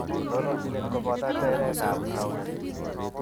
Tononjinet koboto teretab tanuet